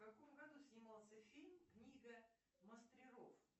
в каком году снимался фильм книга мастеров